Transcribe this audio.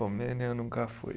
Romênia eu nunca fui.